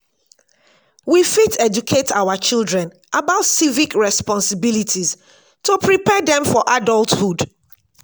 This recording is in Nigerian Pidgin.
we fit educate our children about civic responsibilities to prepare dem for adulthood.